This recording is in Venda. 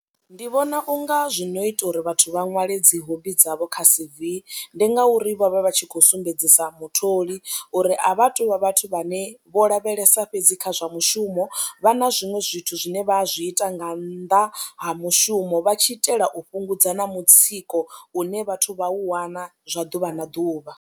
Ndi vhona u nga zwi no ita uri vhathu vha ṅwale dzi hobby dzavho kha C_V ndi ngauri vha vha vha tshi khou sumbedzisa mutholi uri a vha thu vha vhathu vhane vho lavhelesa kha zwa mushumo vha na zwiṅwe zwithu zwine vha zwi ita nga nnḓa ha mushumo vha tshi itela u fhungudza na mutsiko une vhathu vha u wana zwa ḓuvha na ḓuvha.